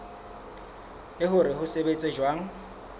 le hore se sebetsa jwang